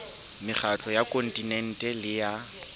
mekgatlo ya kontinente le ya